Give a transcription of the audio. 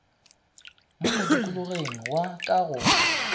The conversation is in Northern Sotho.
mo modikologeng wa ka go